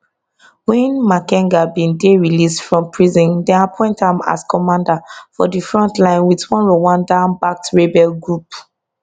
wen makenga bin dey released from prison dem appoint am as commander for di front line wit one rwanda backed rebel group